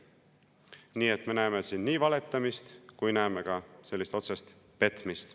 Nii et me näeme siin nii valetamist kui ka otsest petmist.